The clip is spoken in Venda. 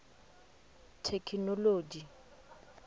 thekinoḽodzhi